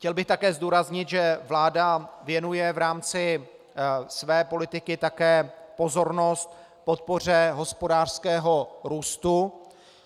Chtěl bych také zdůraznit, že vláda věnuje v rámci své politiky také pozornost podpoře hospodářského růstu.